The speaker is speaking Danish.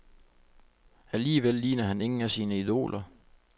Alligevel ligner han ingen af sine idoler.